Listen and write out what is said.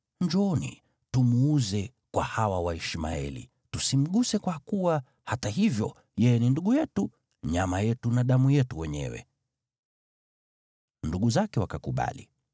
Njooni, tumuuze kwa hawa Waishmaeli. Tusimguse, kwa kuwa hata hivyo yeye ni ndugu yetu, nyama yetu na damu yetu wenyewe.” Ndugu zake wakakubali.